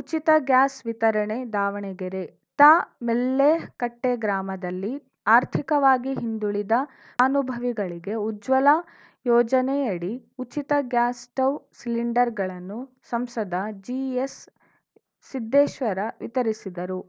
ಉಚಿತ ಗ್ಯಾಸ್‌ ವಿತರಣೆ ದಾವಣಗೆರೆ ತಾ ಮೆಳ್ಳೆಕಟ್ಟೆಗ್ರಾಮದಲ್ಲಿ ಆರ್ಥಿಕವಾಗಿ ಹಿಂದುಳಿದ ಅನುಭವಿಗಳಿಗೆ ಉಜ್ವಲ ಯೋಜನೆಯಡಿ ಉಚಿತ ಗ್ಯಾಸ್‌ ಸ್ಟೌವ್‌ ಸಿಲಿಂಡರ್‌ಗಳನ್ನು ಸಂಸದ ಜಿಎಸ್ಸಿದ್ದೇಶ್ವರ ವಿತರಿಸಿದರು